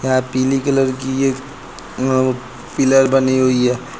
यहां पीले कलर की अं पिलर बनी हुई है।